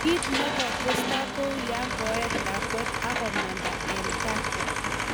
Kiit ne kotestai kou yo koet lakwet akomanda eng gaa